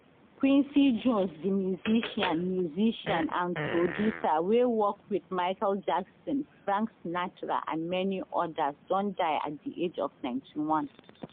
quincy jones di musician musician and producer wey work wit michael jackson frank sinatra and many odas don die at di age of 91